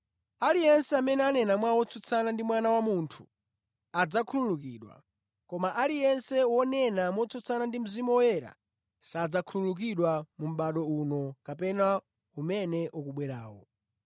Aliyense amene anena mawu otsutsana ndi Mwana wa Munthu adzakhululukidwa koma aliyense wonena motsutsana ndi Mzimu Woyera sadzakhululukidwa mu mʼbado uno kapena umene ukubwerawo.